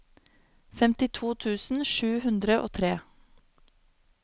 femtito tusen sju hundre og tre